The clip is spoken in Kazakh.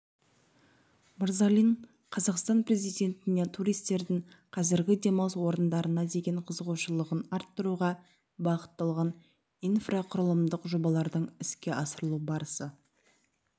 мырзалин қазақстан президентіне туристердің қазіргі демалыс орындарына деген қызығушылығын арттыруға бағытталған инфрақұрылымдық жобалардың іске асырылу барысы